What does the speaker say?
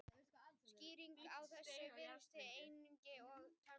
Skýringin á þessu virðist einkum vera tæknileg.